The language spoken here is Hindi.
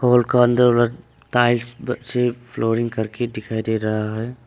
घर का अंदर टाइल्स से फ्लोरिंग करके दिखाई दे रहा है।